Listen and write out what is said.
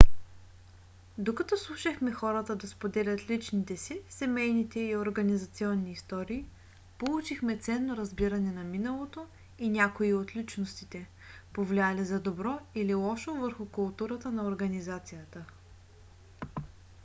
докато слушахме хората да споделят личните си семейните и организационни истории получихме ценно разбиране на миналото и някои от личностите повлияли за добро или лошо върху културата на организацията